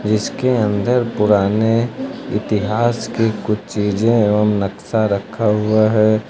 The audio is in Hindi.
इसके अन्दर पुराने इतिहास के कुछ चीजें एवं नक्शा रखा हुआ है।